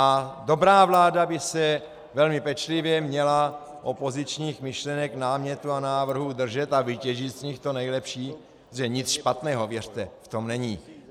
A dobrá vláda by se velmi pečlivě měla opozičních myšlenek, námětů a návrhů držet a vytěžit z nich to nejlepší, protože nic špatného, věřte, v tom není.